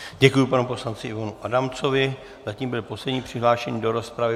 Děkuji panu poslanci Ivanu Adamcovi, zatím byl poslední přihlášený do rozpravy.